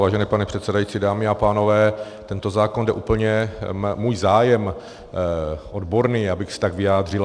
Vážený pane předsedající, dámy a pánové, tento zákon jde úplně - můj zájem odborný, abych se tak vyjádřil.